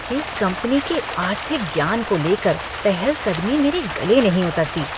इस कंपनी के आर्थिक ज्ञान को लेकर पहलकदमी मेरे गले नहीं उतरती।